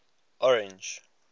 orange